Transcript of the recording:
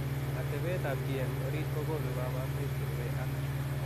Atepeet ap chii eng oriit kokonuu kabarunoik cherubei ak